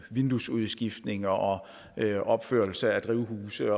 vinduesudskiftninger og opførelse af drivhuse